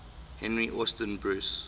henry austin bruce